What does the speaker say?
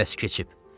Qərəz keçib.